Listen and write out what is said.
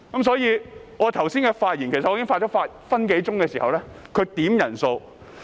所以，我剛才發言了逾1分鐘時，他便要求點算人數。